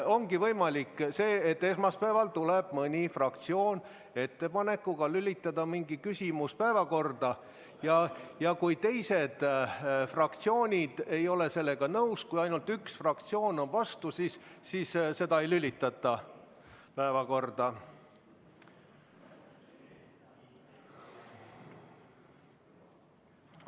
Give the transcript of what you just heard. Ongi nii, et kui esmaspäeval tuleb mõni fraktsioon ettepanekuga lülitada mingi küsimus päevakorda ja teised fraktsioonid ei ole sellega nõus, isegi kui ainult üks fraktsioon on vastu, siis seda ei lülitata päevakorda.